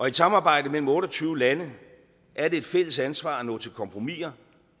et samarbejde mellem otte og tyve lande er det et fælles ansvar at nå til kompromisser